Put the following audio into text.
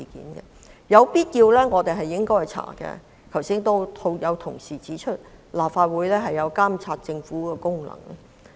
我們在必要時應進行調查，因為正如剛才有同事指出，立法會有監察政府的職能。